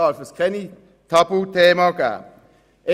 Diesbezüglich darf es keine Tabuthemen geben.